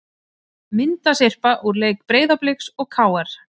Myndasyrpa úr leik Breiðabliks og KR